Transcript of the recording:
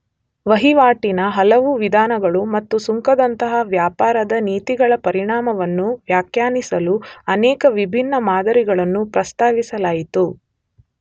ವಹಿವಾಟಿನ ಹಲವು ವಿಧಾನಗಳು ಮತ್ತು ಸುಂಕದಂತಹ ವ್ಯಾಪಾರದ ನೀತಿಗಳ ಪರಿಣಾಮವನ್ನು ವ್ಯಾಖ್ಯಾನಿಸಲು ಅನೇಕ ವಿಭಿನ್ನ ಮಾದರಿಗಳನ್ನು ಪ್ರಸ್ತಾವಿಸಲಾಯಿತು.